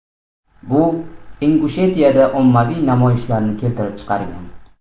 Bu Ingushetiyada ommaviy namoyishlarni keltirib chiqargan.